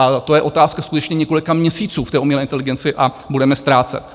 A to je otázka skutečně několika měsíců v té umělé inteligenci a budeme ztrácet.